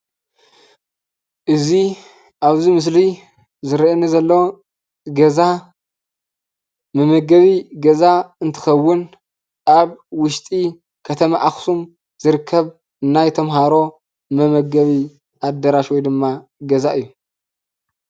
እዚ ኣብዚ ምስሊ ዝርእየኒ ዘሎ ገዛ መመገቢ ገዛ እንትከውን ኣብ ውሽጢ ከተማ ኣክሱም ዝርከብ ናይ ተምሃሮ መመገቢ ኣዳራሽ ወይ ድማ ገዛ እዩ።